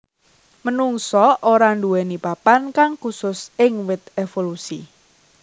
Menungsa ora nduwèni papan kang khusus ing wit évolusi